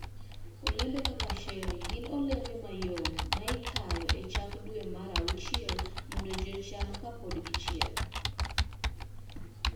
Olembe kaka cherry gin olembe mayom ma ikayo e chak dwe mar auchiel mondo ji ocham kapod gichiek.